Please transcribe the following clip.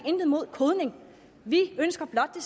har imod kodning vi ønsker blot at